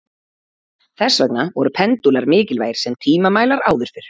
þess vegna voru pendúlar mikilvægir sem tímamælar áður fyrr